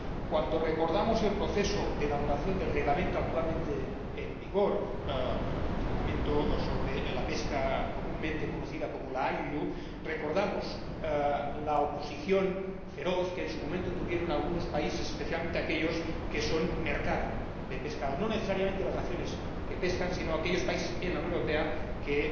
Cuando recordamos el proceso de elaboración del Reglamento actualmente en vigor el Reglamento sobre la pesca comúnmente conocida como la pesca INDNR recordamos la oposición feroz que en su momento mostraron algunos países, especialmente aquellos que son mercado de pescado, no necesariamente las naciones que pescan, sino aquellos países, en la Unión Europea, que